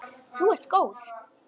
Þú ert góð!